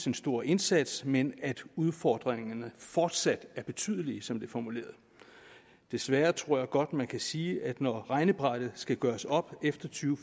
en stor indsats men at udfordringerne fortsat er betydelige som det er formuleret desværre tror jeg godt man kan sige at når regnebrættet skal gøres op efter to